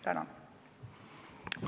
Tänan!